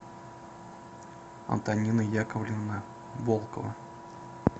антонина яковлевна волкова